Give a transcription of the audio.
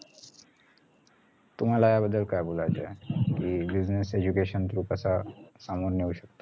तुम्हाला या बद्दल काय बोलायचे आहे कि business education through सांगून नेऊ शकतो